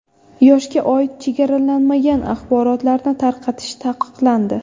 Yoshga oid chegaralanmagan axborotlarni tarqatish taqiqlandi.